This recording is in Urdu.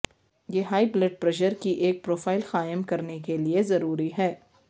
یہ ہائی بلڈ پریشر کی ایک پروفائل قائم کرنے کے لئے ضروری ہے